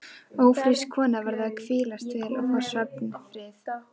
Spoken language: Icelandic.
Ófrísk kona verður að hvílast vel og fá svefnfrið.